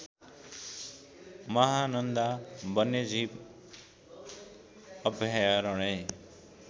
महानन्दा वन्यजीव अभयारण्य